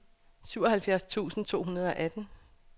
syvoghalvfjerds tusind to hundrede og atten